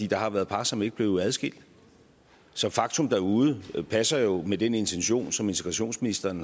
der har været par som ikke blev adskilt så faktum derude passer jo med den intention som integrationsministeren